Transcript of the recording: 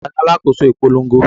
Ta ni alákòóso ìpolongo?